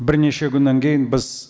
бірнеше күннен кейін біз